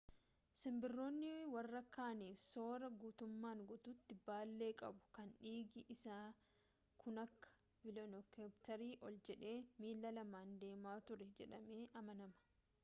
simbirroon warra kaaniif sooraa guutummaan guutuutti baallee qabu kan dhiigi isaa kunakka veelookiraaptorii ol jedhee miilla lamaan deemaa ture jedhamee amanama